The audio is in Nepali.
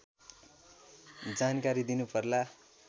जानकारी दिनुपर्ला